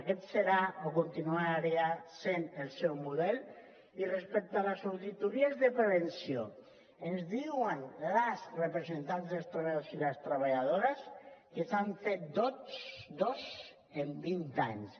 aquest serà o continuarà sent el seu model i respecte a les auditories de prevenció ens diuen les representants dels treballadors i les treballadores que se n’han fet dos en vint anys